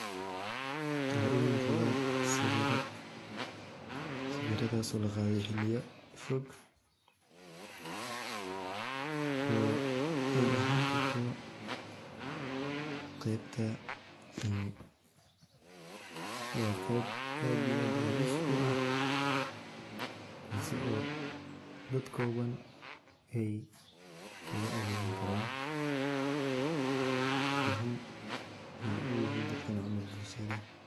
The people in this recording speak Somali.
Waxa imuqda sawiradas oo laqade xiliyo foog oo ey ahani karto qeybta wa qeyb aad iyo aad halis uah tasii oo dad Iowan ey kaga adegani karan muhiim ayey uyihin dadkan camal bulshada.